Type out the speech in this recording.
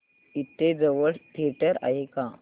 इथे जवळ थिएटर आहे का